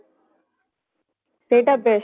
ସେଟା best